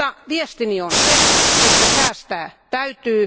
Viestini on se, että säästää täytyy.